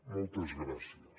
moltes gràcies